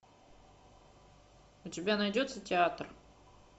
у тебя найдется театр